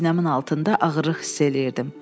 Sinəmin altında ağırlıq hiss eləyirdim.